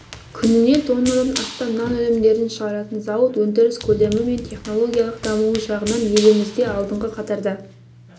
күніне тоннадан астам нан өнімдерін шығаратын зауыт өндіріс көлемі мен технологиялық дамуы жағынан елімізде алдыңғы қатарда